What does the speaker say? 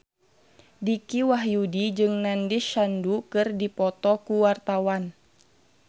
Dicky Wahyudi jeung Nandish Sandhu keur dipoto ku wartawan